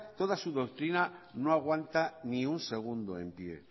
toda su doctrina no aguanta ni un segundo en pie